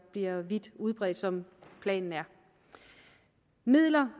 bliver vidt udbredt som planen er midler